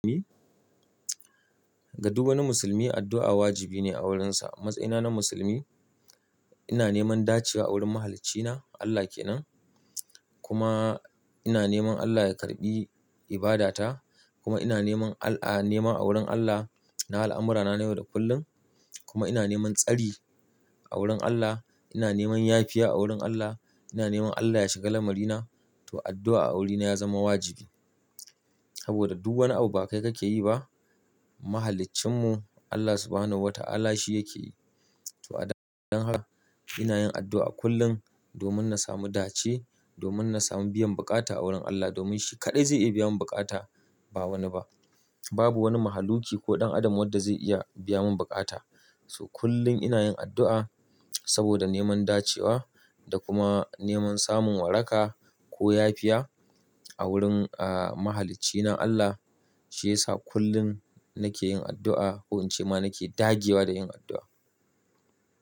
Ga duk wani musulmi addu'a wajibi ne a wurinsa. A matsayina na musulmi ina neman dacewa a wurin Mahaliccina Allah ke nan, kuma ina neman Allah ya karbi ibadata. Kuma ina neman Al-a nema a wurin Allah na al'amurana na yau da kullun. Kuma ina neman tsari a wurin Allah, ina neman yafiya a wurin Allah, ina neman Allah ya shaga lamari na, to addu'a a wurina ya zama wajibi. Saboda duk wani abu ba kai kake yi ba, Mahaliccinmu Allah Subhanahu wa Ta'ala shi yake yi. To a dan-dan haka ina yin addu'a kullum domin na samu dace, domin na samu biyan bukata a wurin Allah, domin shi kaɗai zai iya biya mun bukata, ba wani ba. Babu wani mahaluki ko ɗan adam wadda zai iya biya mun bukata. So kullum ina yin addu'a saboda neman dacewa da kuma neman samun waraka ko yafiya a wurin ah Mahaliccina Allah. Shi yasa kullum nake yin addu'a ko in ce ma nake dage wa da yin addu'a.